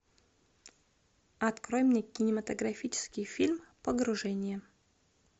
открой мне кинематографический фильм погружение